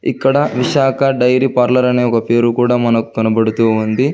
ఇక్కడ Visakha dairy parlour అని ఒక పేరు కూడ మనకు కనబడుతూ ఉంది